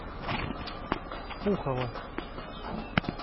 пухова